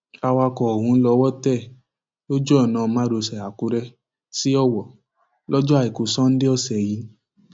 awakọ ọhún lọwọ tẹ lójú ọnà márosẹ àkùrẹ sí ọwọ lọjọ àìkú sanńdé ọsẹ yìí